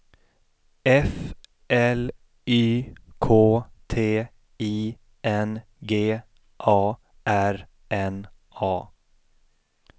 F L Y K T I N G A R N A